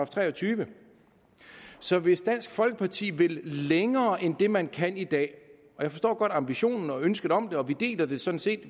treogtyvende så hvis dansk folkeparti virkelig vil længere end det man kan i dag og jeg forstår godt ambitionen og ønsket om det og vi deler det sådan set